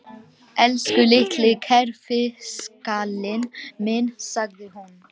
Elsku litli kerfiskallinn minn, sagði hún.